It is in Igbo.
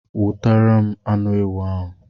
Wotere m anu ewu ahu